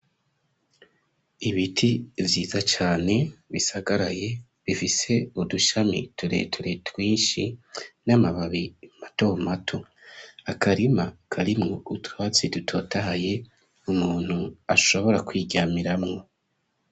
Ibiti vyiza cane, bisagaraye, bifise udushami tureture, twinshi, n'amababi mato mato; akarima, karimwo utwatsi dutotahaye, umuntu ashobora kwiryamiramwo.